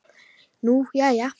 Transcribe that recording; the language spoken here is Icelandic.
Nú, jæja?